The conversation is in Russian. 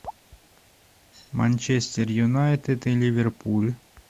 манчестер юнайтед и ливерпуль